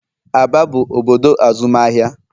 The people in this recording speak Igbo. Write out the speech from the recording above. Aba bụ obodo azụmahịa.